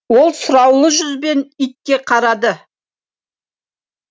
ол сұраулы жүзбен итке қарады